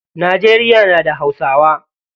Najeriya na da hausawa.